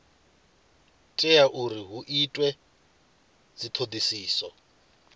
tea uri hu itwe dzithodisiso